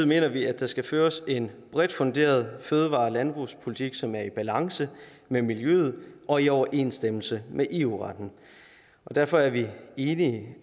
mener vi at der skal føres en bredt funderet fødevare og landbrugspolitik som er i balance med miljøet og i overensstemmelse med eu retten derfor er vi enige